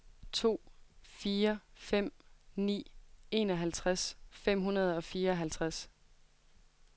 to fire fem ni enoghalvtreds fem hundrede og fireoghalvtreds